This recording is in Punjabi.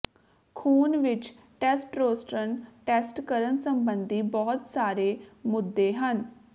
ਖ਼ੂਨ ਵਿੱਚ ਟੈੱਸਟਰੋਸਟਨ ਟੈਸਟ ਕਰਨ ਸੰਬੰਧੀ ਬਹੁਤ ਸਾਰੇ ਮੁੱਦੇ ਹਨ